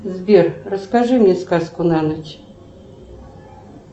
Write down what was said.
сбер расскажи мне сказку на ночь